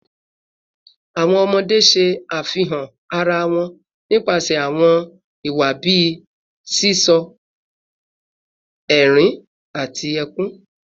Awọn ọmọde ṣe afihan ara wọn nipasẹ awọn iwa bii sisọ, ẹrin, ati ẹkun